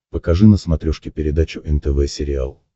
покажи на смотрешке передачу нтв сериал